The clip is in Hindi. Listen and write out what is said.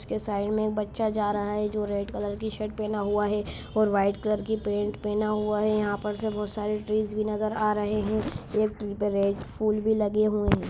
उसकी साइड में एक बच्चा जा रहा है जो रेड कलर की शर्ट पहना हुआ हैं और वाइट कलर की पैंट पहना हुआ है | यहाँ पर सब बहुत सारे ट्री भी नजर आ रहे हैं | एक ट्री पर रेड फूल भी लगे हुए हैं।